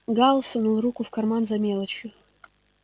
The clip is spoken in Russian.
гаал сунул руку в карман за мелочью